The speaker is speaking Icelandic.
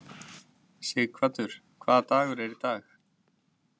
Sighvatur, hvaða dagur er í dag?